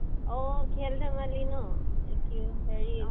অহ। খাল ধেমালী ন? একি হেৰি